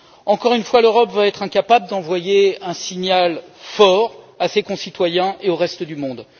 Encore une fois, l'Europe va être incapable d'envoyer un signal fort à ses concitoyens et au reste du monde.